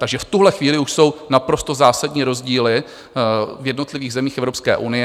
Takže v tuhle chvíli už jsou naprosto zásadní rozdíly v jednotlivých zemích Evropské unie.